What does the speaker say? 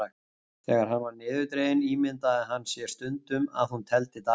Þegar hann var niðurdreginn ímyndaði hann sér stundum að hún teldi dagana.